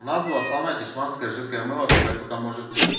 у нас была самая дешманская жидкое мыло какое только может быть